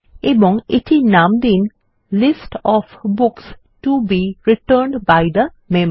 এবং এটির নাম দিন list of books to be returned by the member